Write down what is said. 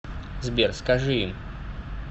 сбер скажи им